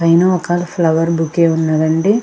పైన ఒక flower bouquet ఉన్నదండి.